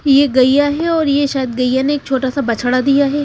ये गैया है और ये शायद गैया ने एक छोटा सा बछड़ा दिया है।